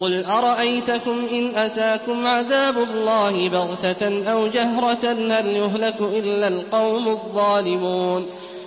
قُلْ أَرَأَيْتَكُمْ إِنْ أَتَاكُمْ عَذَابُ اللَّهِ بَغْتَةً أَوْ جَهْرَةً هَلْ يُهْلَكُ إِلَّا الْقَوْمُ الظَّالِمُونَ